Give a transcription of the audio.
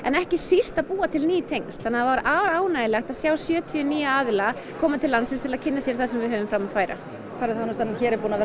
ekki síst að búa til ný tengsl og var afar ánægjulegt að sjá sjötíu nýja aðila koma til landsins til að kynna sér það sem við höfum fram að færa ferðaþjónustan hér er búin að vera